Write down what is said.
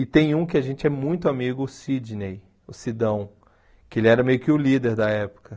E tem um que a gente é muito amigo, o Sidney, o Sidão, que ele era meio que o líder da época.